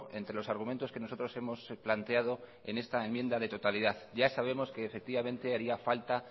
entre los argumentos que nosotros hemos planteado en esta enmienda de totalidad ya sabemos que efectivamente haría falta